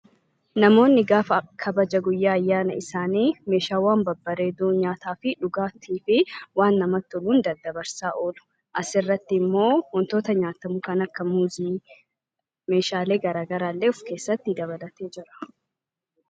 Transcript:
Namoonni gaafa kabaja guyyaa ayyaana isaanii Meeshaawwan babbareedoo nyaataa, dhugaatiin dabarsaa oolu. Asirratti immoo waantota nyaatamu kanneen akka muuzii fi Meeshaalee garaagaraa illee of keessatti dabalatee jira..